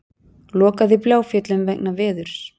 Lokað í Bláfjöllum vegna veðurs